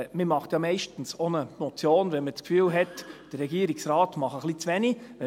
Man macht ja meist eine Motion, wenn man den Eindruck hat, dass der Regierungsrat ein bisschen zu wenig tut.